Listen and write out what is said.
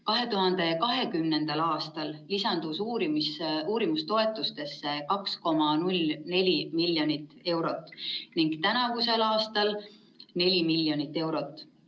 2020. aastal lisandus uurimistoetustesse 2,04 miljonit eurot ning tänavusel aastal 4 miljonit eurot.